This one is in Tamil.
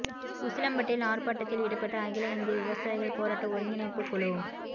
உசிலம்பட்டியில் ஆர்ப்பாட்டத்தில் ஈடுபட்ட அகில இந்திய விவசாயிகள் போராட்ட ஒருங்கிணைப்புக் குழு